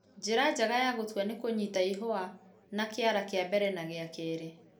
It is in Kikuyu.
Njĩra njega ya gũtua ni kũnyita ihũa na kĩara kĩa mbere na gĩa kerĩ